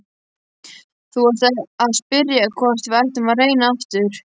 Þú varst að spyrja hvort við ættum að reyna aftur.